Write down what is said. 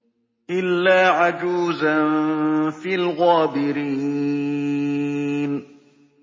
إِلَّا عَجُوزًا فِي الْغَابِرِينَ